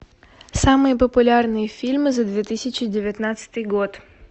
самые популярные фильмы за две тысячи девятнадцатый год